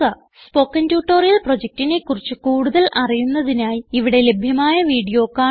spoken tutorial പ്രൊജക്റ്റിനെ കുറിച്ച് കൂടുതൽ അറിയുന്നതിനായി ഇവിടെ ലഭ്യമായ വീഡിയോ കാണുക